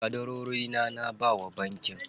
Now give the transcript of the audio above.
Ƙadarorina na bawa bankin.